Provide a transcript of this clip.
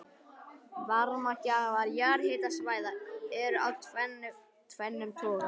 Varmagjafar jarðhitasvæða eru af tvennum toga.